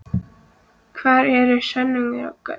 Hvar eru sönnunargögnin?